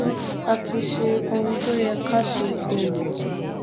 a ti ṣe ohun tó yẹ ká ṣe um